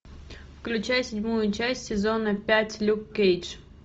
включай седьмую часть сезона пять люк кейдж